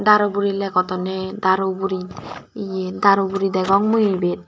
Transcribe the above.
daru buri legodonne daru buri ye daru buri degong mui ibet.